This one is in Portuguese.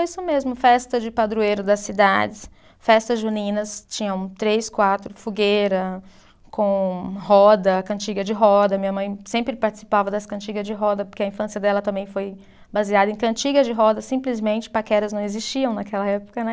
Isso mesmo, festa de padroeiro das cidades, festas juninas, tinham três, quatro, fogueira com roda, cantiga de roda, minha mãe sempre participava das cantigas de roda, porque a infância dela também foi baseada em cantigas de roda, simplesmente paqueras não existiam naquela época, né?